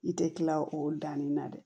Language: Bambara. I tɛ kila o danni na dɛ